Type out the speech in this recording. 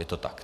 Je to tak?